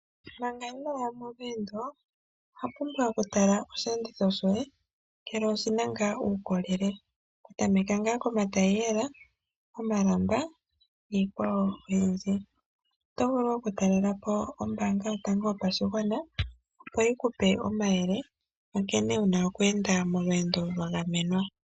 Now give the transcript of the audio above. Manga ino ya molweendo owa pumbwa okutala oshiyenditho shoye mgele oshi na ngaa uukolele. Okutameka ngaa komatayiyela, komalamba niikwawo oyindji. Oto vulu okutalelapo ombaanga yotango yopashigwana opo yi ku pe omayele ku nkene wuna oku enda molweendo lwa gamenwa.